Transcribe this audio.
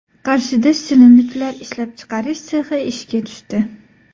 Qarshida shirinliklar ishlab chiqarish sexi ishga tushdi.